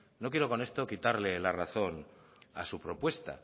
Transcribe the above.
no quiero con esto quitarle la razón a su propuesta